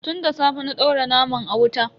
Tun da safe na daura naman a wuta.